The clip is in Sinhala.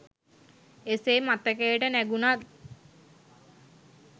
එසේ මතකයට නැඟුනත්